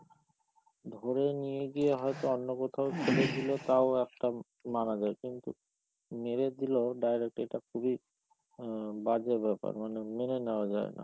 ধরে নিয়ে গিয়ে হয়তো অন্য কোথাও ফেলে দিল, তাও একটা মানা যায়, কিন্তু মেরে দিলো direct এটা খুবই বাজে ব্যাপার মানে মেনে নেওয়া যায় না।